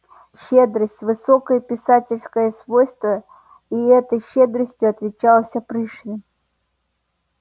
щедрость высокое писательское свойство и этой щедростью отличался пришвин